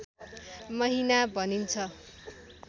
महिना भनिन्छ